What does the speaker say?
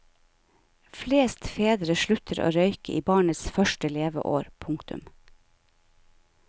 Flest fedre slutter å røyke i barnets første leveår. punktum